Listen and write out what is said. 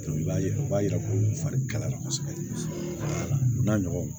I b'a ye o b'a yira ko fari kalayara kosɛbɛ u man nɔgɔn